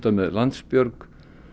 með Landsbjörg